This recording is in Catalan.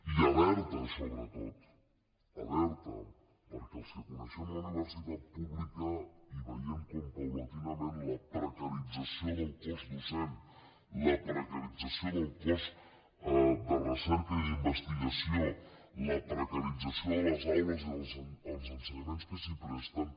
i alerta sobretot alerta perquè els que coneixem la universitat pública i veiem com progressivament la precarització del cos docent la precarització del cos de recerca i d’investigació la precarització de les aules i dels ensenyaments que s’hi presten